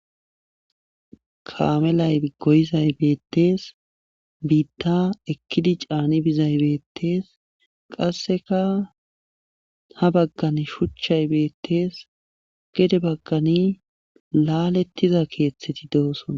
kaamelay goyizay beettees biitta ekkidi caani bizay beettees qasseka ha baggan shuchchay beettees gede baggani laalettiza keeththeti dooson